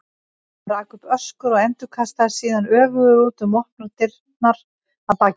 Hann rak upp öskur og endurkastaðist síðan öfugur út um opnar dyrnar að baki sér.